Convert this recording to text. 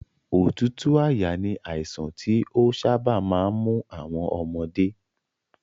Òtútù àyà ni àìsàn tí ó sábà máa ń mú àwọn ọmọdé